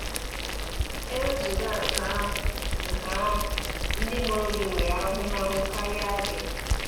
E wezụga nke ahụ, nke ahụ, ndị mụrụ gị nwere ahụmahụ karịa gị.